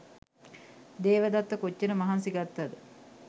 දේවදත්ත කොච්චර මහන්සි ගත්තද?